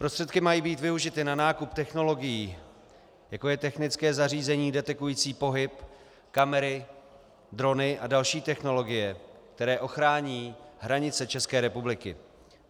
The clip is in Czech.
Prostředky mají být využity na nákup technologií, jako je technické zařízení detekující pohyb, kamery, drony a další technologie, které ochrání hranice České republiky.